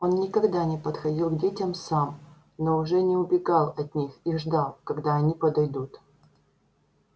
он никогда не подходил к детям сам но уже не убегал от них и ждал когда они подойдут